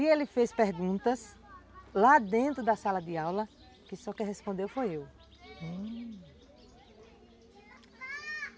E ele fez perguntas lá dentro da sala de aula, que só quem respondeu foi eu.